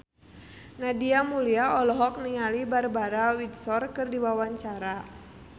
Nadia Mulya olohok ningali Barbara Windsor keur diwawancara